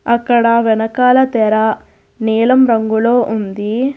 ఇక్కడ వెనకాల తెర నీలం రంగులో ఉంది.